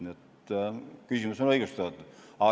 Nii et küsimus on õigustatud.